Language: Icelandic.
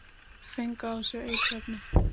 Fengu á sig eiturefni